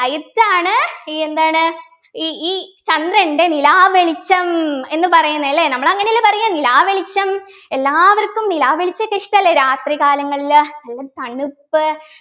light ആണ് ഈ എന്താണ് ഈ ഈ ചന്ദ്രൻ്റെ നിലാവെളിച്ചം എന്ന് പറയുന്നെ അല്ലേ നമ്മൾ അങ്ങനെയല്ലേ പറയ നിലാവെളിച്ചം എല്ലാവർക്കും നിലാവെളിച്ചത്തെ ഇഷ്ടല്ലേ രാത്രികാലങ്ങളിലെ നല്ല തണുപ്പ്